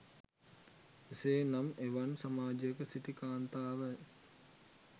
එසේ නම් එවන් සමාජයක සිටි කාන්තාව